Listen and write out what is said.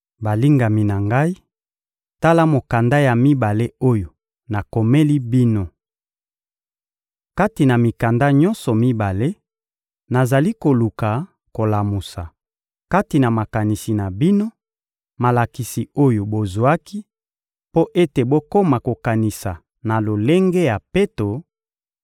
Balingami na ngai, tala mokanda ya mibale oyo nakomeli bino. Kati na mikanda nyonso mibale, nazali koluka kolamusa, kati na makanisi na bino, malakisi oyo bozwaki, mpo ete bokoma kokanisa na lolenge ya peto,